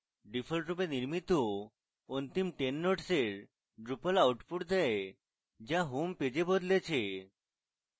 ডিফল্টরূপে নির্মিত অন্তিম 10 nodes এর drupal outputs দেয় যা homepage এ বদলেছে